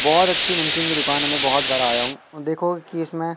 बहोत अच्छी नमकीन की दुकान है मैं बहोत बार आया हूँ देखो की इसमें--